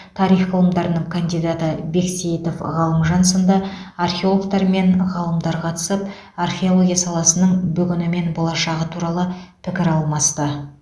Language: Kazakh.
тарих ғылымдарының кандидаты бексеитов ғалымжан сынды археологтар мен ғалымдар қатысып археология саласының бүгіні мен болашағы туралы пікір алмасты